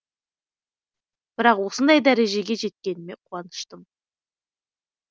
бірақ осындай дәрежеге жеткеніме қуаныштымын